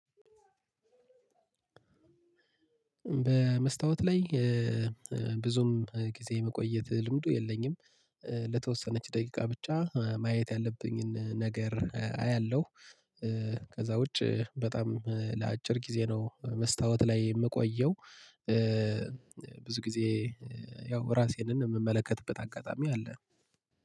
በመስታወት ላይ ብዙም ጊዜ የመቆየት ልምዱ የለኝም። ለተወሰነች ደቂቃ ብቻ ማየት ያለብኝን ነገር አያለሁ። ከዛ ውጪ በጣም ለአጭር ጊዜ ነው መስታወት ላይ የምቆየው። ብዙ ጊዜ ያው ራሴንን የምመለከትበት አጋጣሚ አለ